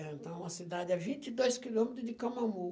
Então, é uma cidade a vinte e dois quilômetros de Camamu.